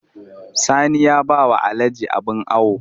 Sani ya ba wa Alhaji abin awo